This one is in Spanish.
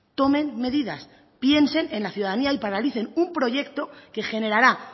tomen medidas piensen en la ciudadanía y paralicen un proyecto que generará